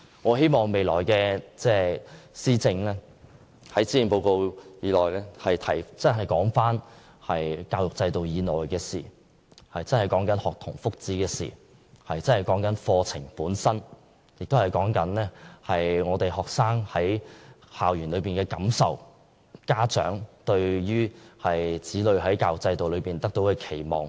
我希望未來施政報告內的教育政策，能真正談及教育制度以內的事情，真正為學童謀福祉，真正處理課程本身的事情；並顧及學生在校園的感受，以及家長對子女在教育制度下學習的期望。